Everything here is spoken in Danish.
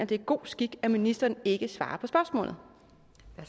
det er god skik at ministeren ikke svarer